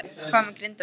Hvað með Grindavík?